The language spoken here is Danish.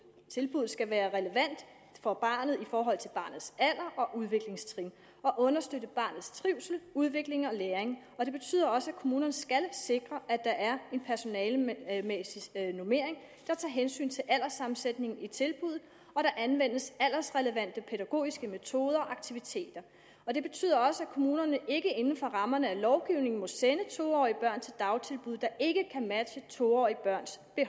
skal være relevant for barnet i forhold til barnets alder og udviklingstrin og understøtte barnets trivsel udvikling og læring det betyder også at kommunerne skal sikre at der er en personalemæssig normering der tager hensyn til alderssammensætningen i tilbuddet og at der anvendes aldersrelevante pædagogiske metoder og aktiviteter det betyder også at kommunerne ikke inden for rammerne af lovgivningen må sende to årige børn til dagtilbud der ikke kan matche to årige børns